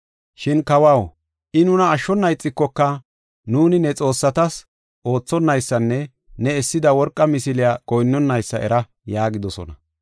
Shin kawaw, I nuna ashshona ixikoka, nuuni ne xoossatas oothonaysanne ne essida worqa misiliya goyinnanaysa era” yaagidosona.